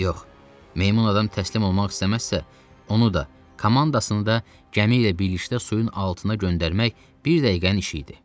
Yox, meymun adam təslim olmaq istəməzsə, onu da, komandasını da gəmi ilə birlikdə suyun altına göndərmək bir dəqiqənin işi idi.